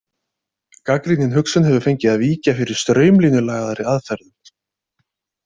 Gagnrýnin hugsun hefur fengið að víkja fyrir straumlínulagaðri aðferðum.